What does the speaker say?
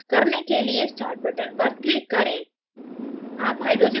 करने के लिए startबटन पर click करें